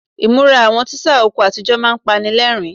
Ìmúra àwọn tíṣà oko àtijọ́ máa ń panilẹ́rìn-ín.